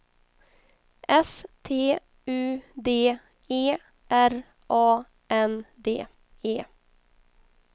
S T U D E R A N D E